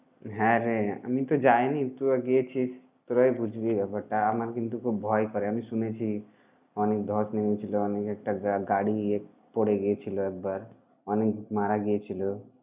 হ্যাঁরে! আমিতো যাইনি তোরা গিয়েছিস, তোরাই বুঝবি ব্যাপারটা। আমার কিন্তু খুব ভয় করে। আমি শুনেছি অনেক ধস নেমেছিল অনেক একটা গাড়ি পরে গিয়েছিল একবার, অনেক মারা গিয়েছিল।